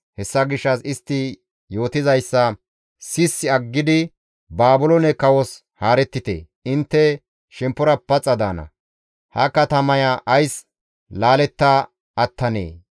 Hessa gishshas istti yootizayssa sissi aggidi Baabiloone kawos haarettite; intte shemppora paxa daana; ha katamaya ays laaletta attanee?